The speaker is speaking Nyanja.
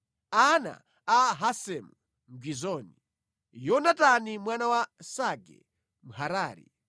ana a Hasemu Mgizoni, Yonatani mwana wa Sage Mharari,